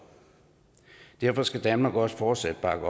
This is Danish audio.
derfor skal danmark også fortsat bakke